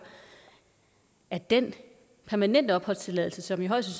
at den permanente opholdstilladelse som i højst